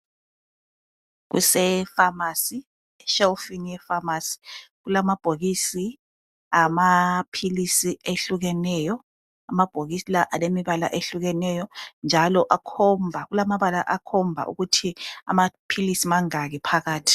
Kulefanasi, eshelufini yefamasi, kulamabhokisi amapilisi ehlukeneyo. Amabhokisi lawa alombala ehlukeneyo njalo kulamabala akhomba ukuthi amapilisi mangaki phakathi.